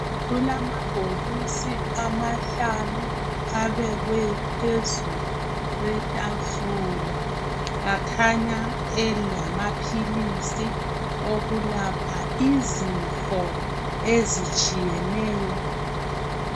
Kulamabhokisi amahlanu abekwe phezu kwetafula, akhanya elamaphilisi okwelapha izifo ezitshiyeneyo.